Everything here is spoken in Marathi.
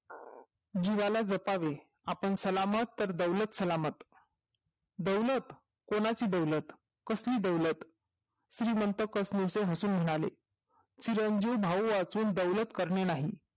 जीवाला जपावे आपण सलामत तर दौलत सलामत दौलत कोणाची दौलत कसली दौलत श्रीमंत हसून म्हणाले चिरंजीव भाऊ असून दौलत करणे नाही